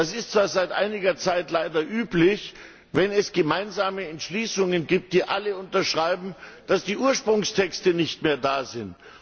Es ist zwar seit einiger Zeit leider üblich, wenn es gemeinsame Entschließungsanträge gibt, die alle unterschreiben, dass die Ursprungstexte nicht mehr da sind.